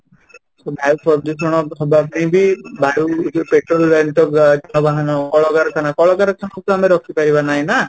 ସେ ବାୟୁ ପ୍ରଦୂଷଣ ହବା ପାଇଁ ବି ବାୟୁ ଯୋଉ ପେଟ୍ରୋଲ ଜନିତ ଯାନବାହାନ, କଳକାରଖାନା , କଳକାରଖାନା କୁ ତ ଆମେ ରୋକିପାରିବା ନାହିଁ ନା